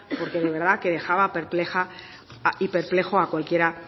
porque de verdad que dejaba perpleja y perplejo a cualquiera